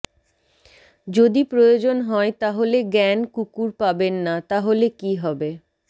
যদি প্রয়োজন হয় তাহলে জ্ঞান কুকুর পাবেন না তাহলে কি হবে